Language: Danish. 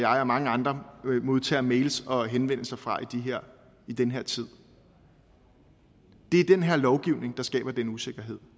og mange andre modtager mails og henvendelser fra i den her tid det er den her lovgivning der skaber den usikkerhed